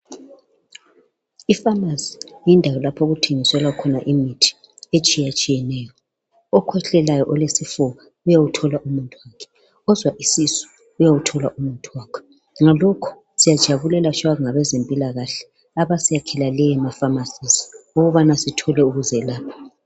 Ipharmarcy yindawo lapho okuthengiswa khona imithi etshiya tshiyeneyo. Abaphethwe yisifuba yayakwazi ukuwuthola umuthi , uphethwe yisisu esibuhlungu laye uyakwazi ukuwuthola umuthi wakhe. Sibonga kakhulu abezempilakahle abayakha lezizindawo ukuze sithole usizo.